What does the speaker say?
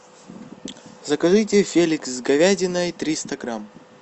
закажите феликс с говядиной триста грамм